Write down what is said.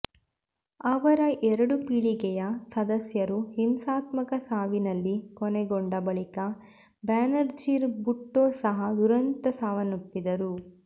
ಅವರ ಎರಡು ಪೀಳಿಗೆಯ ಸದಸ್ಯರು ಹಿಂಸಾತ್ಮಕ ಸಾವಿನಲ್ಲಿ ಕೊನೆಗೊಂಡ ಬಳಿಕ ಬೇನಜೀರ್ ಭುಟ್ಟೊ ಸಹ ದುರಂತದ ಸಾವಪ್ಪಿದರು